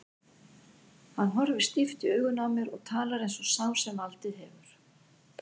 Hann horfir stíft í augun á mér og talar eins og sá sem valdið hefur.